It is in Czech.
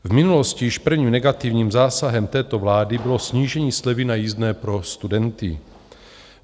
V minulosti již prvním negativním zásahem této vlády bylo snížení slevy na jízdné pro studenty.